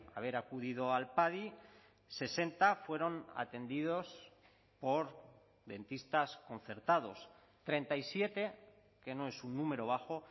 haber acudido al padi sesenta fueron atendidos por dentistas concertados treinta y siete que no es un número bajo